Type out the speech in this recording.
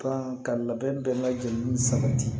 Kan ka labɛn bɛɛ lajɛlen sabati